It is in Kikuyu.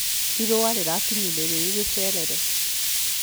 Irũa rĩrakinyire rĩrĩ rĩcerere